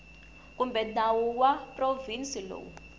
kumbe nawu wa provhinsi lowu